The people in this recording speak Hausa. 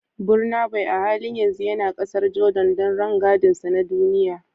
Burnaboy a halin yanzu yana kasar Jordan don rangadinsa na duniya